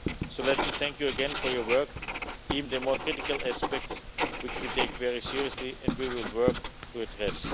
So let me thank you again for your work, and even the more critical aspects, which we take very seriously and we will work to address.